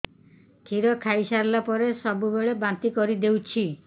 କ୍ଷୀର ଖାଇସାରିଲା ପରେ ସବୁବେଳେ ବାନ୍ତି କରିଦେଉଛି